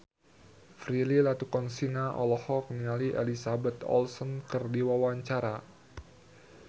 Prilly Latuconsina olohok ningali Elizabeth Olsen keur diwawancara